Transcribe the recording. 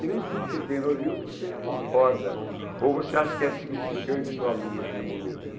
Que nem tudo que tem no livro você concorda, ou você acha que é significante para o aluno naquele momento.